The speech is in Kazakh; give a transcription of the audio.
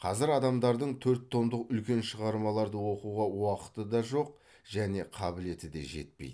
қазір адамдардың төрт томдық үлкен шығармаларды оқуға уақыты да жоқ және қабілеті де жетпейді